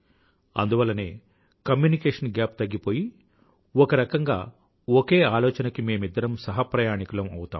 అందువల్లనే communication gap తగ్గిపోయి ఒకరకంగా ఒకే ఆలోచనకి మేమిద్దరం సహప్రయాణికులం అవుతాము